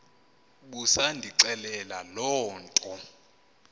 busandixelela loo nto